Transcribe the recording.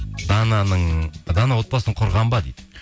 дана отбасын құрған ба дейді